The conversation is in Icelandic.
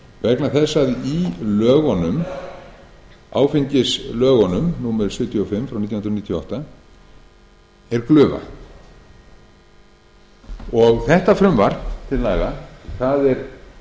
vegna þess að í áfengislögunum númer sjötíu og fimm nítján hundruð níutíu og átta er glufa þetta frumvarp til laga er